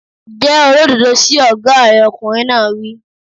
Jẹ́ olódodo sí ọ̀gá rẹ̀! Ọkùnrin náà wí.